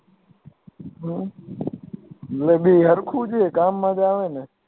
હમ એ ભી હર્ખુ જ હોય ને કામ મા જ આવે ને